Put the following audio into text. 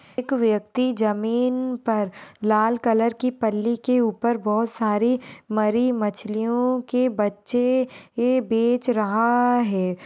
एक व्यक्ति जमीन पर लाल कलर की पल्ली के ऊपर बहुत सारी मरी मछलियों के बच्चे बेंच रहा है।